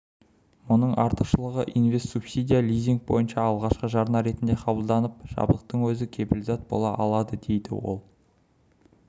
мұның артықшылығы инвест-субсидия лизинг бойынша алғашқы жарна ретінде қабылданып жабдықтың өзі кепілзат бола алады дейді ол